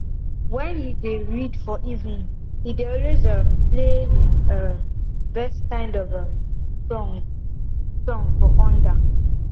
when he dey read for evening he dey always um play him um best kind um of song song for under